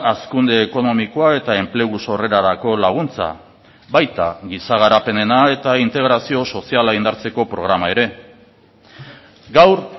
hazkunde ekonomikoa eta enplegu sorrerarako laguntza baita giza garapenena eta integrazio soziala indartzeko programa ere gaur